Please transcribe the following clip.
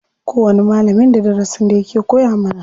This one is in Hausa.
Kowani malamin da darasin da yake koya mana.